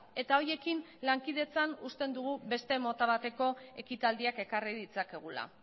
eta horiekin lankidetzan uste dugu beste mota bateko ekitaldiak ekarri ditzakegula